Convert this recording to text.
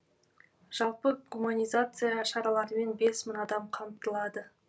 жалпы гуманизация шараларымен бес мың адам қамтылады